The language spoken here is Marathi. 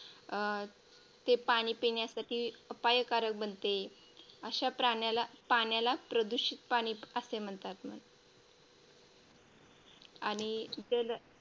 अं ते पाणी पिण्यासाठी अपायकारक बनते अशा प्राण्याला पाण्याला प्रदूषित पाणी असे म्हणतात आणि